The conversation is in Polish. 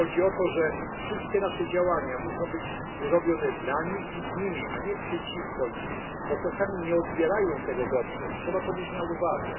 Chodzi o to, że wszystkie nasze działania muszą być robione dla nich i z nimi, a nie przeciwko nim, bo czasami nie odbierają tego dobrze, i trzeba to mieć na uwadze.